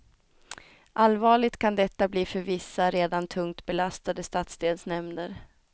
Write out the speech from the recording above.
Allvarligt kan detta bli för vissa, redan tungt belastade stadsdelsnämnder.